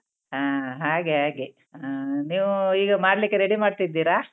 ಹಾ ಹಾಗೆ ಹಾಗೆ ಹಾ ನೀವೂ ಈಗ ಮಾಡ್ಲಿಕ್ಕೆ ready ಮಾಡ್ತಿದ್ದೀರಾ?